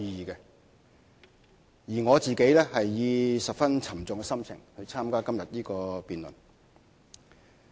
至於我自己，則是以十分沉重的心情參加今天的辯論。